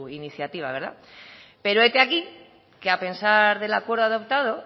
iniciativa pero hete aquí que a pesar del acuerdo adoptado